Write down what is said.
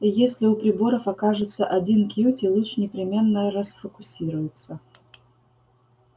и если у приборов окажется один кьюти луч непременно расфокусируется